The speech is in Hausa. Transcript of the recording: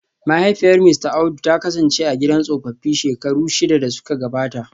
Mahaifiyar Mista Audu ta kasance a gidan tsofaffi shekaru shida da suka gabata